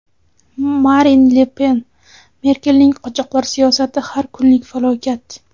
Marin Le Pen: Merkelning qochoqlar siyosati har kunlik falokat.